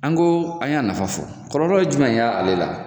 An ko an y'a nafa fɔ .Kɔlɔlɔ ye jumɛn ye ale la